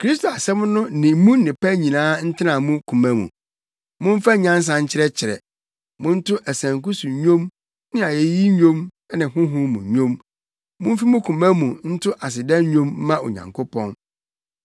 Kristo asɛm no ne mu nnepa nyinaa ntena mo koma mu. Momfa nyansa nkyerɛkyerɛ. Monto asanku so nnwom ne ayeyi nnwom ne honhom mu nnwom. Mumfi mo koma mu nto aseda nnwom mma Onyankopɔn.